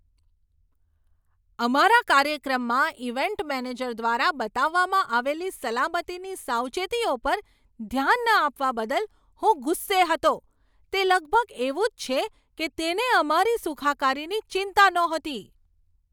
અમારા કાર્યક્રમમાં event manager દ્વારા બતાવવામાં આવેલી સલામતીની સાવચેતીઓ પર ધ્યાન ન આપવા બદલ હું ગુસ્સે હતો. તે લગભગ એવું જ છે કે તેને અમારી સુખાકારીની ચિંતા નહોતી!